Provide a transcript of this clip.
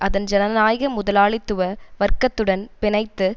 அதன் ஜனநாயக முதலாளித்துவ வர்க்கத்துடன் பிணைத்து